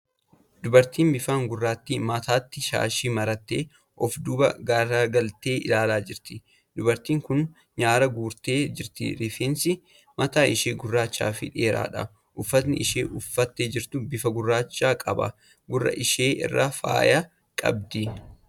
Dubartiin bifaan gurraattii, mataatti shaashii marattee of duuba gargaltee ilaalaa jirti. Dubartiin kun nyaara guurtee jirti. Rifeensi mataa ishee gurraacha fi dheeraadha. Uffati isheen uffattee jirtu bifa gurraacha qaba. Gurra ishee irraa faaya qabdi.